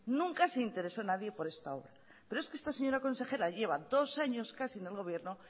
nunca se interesó nadie por esta obra pero es que usted señora consejera lleva dos años casi en el gobierno